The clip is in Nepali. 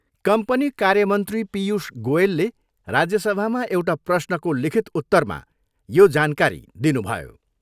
कम्पनी कार्यमन्त्री पीयूष गोयलले राज्यसभामा एउटा प्रश्नको लिखित उत्तरमा यो जानकारी दिनुभयो।